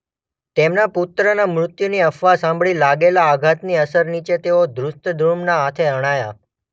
તેમના પુત્રના મૃત્યુની અફવા સાંભળી લાગેલા આઘાતની અસર નીચે તેઓ ધૃષ્ટદ્યુમ્નના હાથે હણાયા.